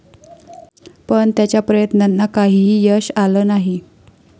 पण त्याच्या प्रयत्नांना काहीही यश आलं नाही.